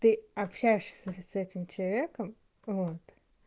ты общаешься с этим человеком вот